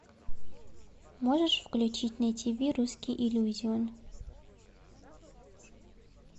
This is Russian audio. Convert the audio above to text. можешь включить на тиви русский иллюзион